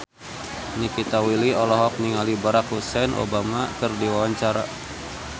Nikita Willy olohok ningali Barack Hussein Obama keur diwawancara